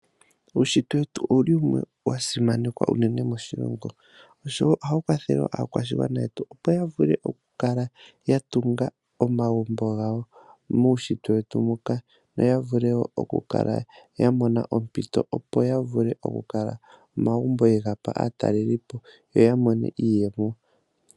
Uunshitwe wetu owuli wumwe wa simanekwa uunene moshilongo oshowo ohawu kwathele aakwashigwana yetu opo ya vule oku kala ya tunga omagumbo gawo muunshitwe wetu mbuka yo ya vule oku kala ya mona ompito opo ya vule oku kala omagumbo ye gapa aatalelipo yo ya mone iiyemo.